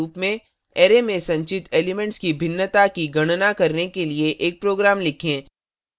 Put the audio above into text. array में संचित elements की भिन्नता की गणना करने के लिए एक प्रोग्राम लिखें